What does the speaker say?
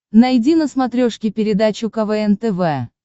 найди на смотрешке передачу квн тв